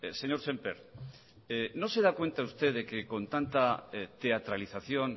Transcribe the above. señor sémper no se da cuenta usted de que con tanta teatralización